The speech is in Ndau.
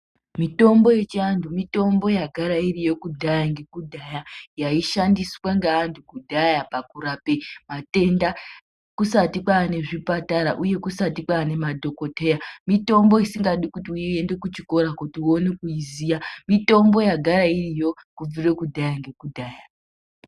Mitombo yechiantu mitombo yagara iriko kudhaya nekudhaya yaishandiswa ngeantu kudhaya pakurape matenda. kusati kwane zvipatara, uye kusati kwane madhogodheya, mitombi isingadi kuenda kuchikoya kuti uone kuiziya, mitombo yagara iriyo kudhaya nekudhaya.